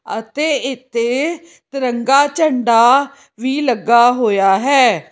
ਅਤੇ ਇੱਥੇ ਤਿਰੰਗਾ ਝੰਡਾ ਵੀ ਲੱਗਾ ਹੋਇਆ ਹੈ।